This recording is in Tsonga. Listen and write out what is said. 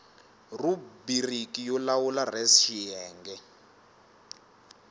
rhubiriki yo lawula res xiyenge